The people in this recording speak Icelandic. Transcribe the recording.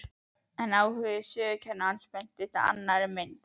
En áhugi sögukennarans beinist að annarri mynd.